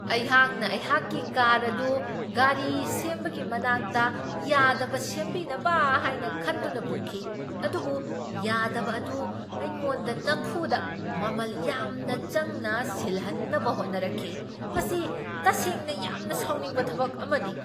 ꯑꯩꯍꯥꯛꯅ ꯑꯩꯍꯥꯛꯀꯤ ꯀꯥꯔ ꯑꯗꯨ ꯒꯥꯔꯤ ꯁꯦꯝꯕꯒꯤ ꯃꯅꯥꯛꯇ ꯌꯥꯗꯕ ꯁꯦꯝꯕꯤꯅꯕ ꯍꯥꯏꯅ ꯈꯟꯗꯨꯅ ꯄꯨꯈꯤ, ꯑꯗꯨꯕꯨ ꯌꯥꯗꯕ ꯑꯗꯨ ꯑꯩꯉꯣꯟꯗ ꯅꯝꯐꯨꯗ ꯃꯃꯜ ꯌꯥꯝꯅ ꯆꯪꯅ ꯁꯤꯜꯍꯟꯅꯕ ꯍꯣꯠꯅꯔꯛꯈꯤ ! ꯃꯁꯤ ꯇꯁꯦꯡꯅ ꯌꯥꯝꯅ ꯁꯥꯎꯅꯤꯡꯕ ꯊꯕꯛ ꯑꯃꯅꯤ ꯫